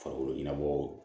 Farikolo ɲɛnabɔ